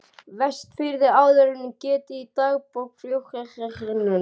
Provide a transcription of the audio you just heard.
Vestfirði en áður er getið í dagbók flotastjórnarinnar